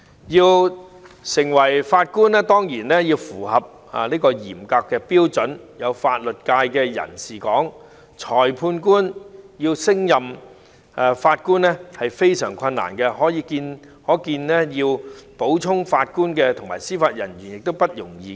要成為法官當然要符合嚴格的標準，有法律界的人士指裁判官要升任法官是非常困難的，可見要補充法官和司法人員殊不容易。